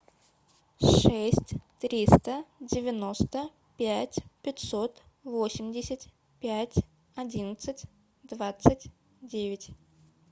шесть триста девяносто пять пятьсот восемьдесят пять одиннадцать двадцать девять